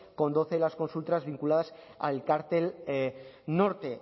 con doce de las consultas vinculadas al cártel norte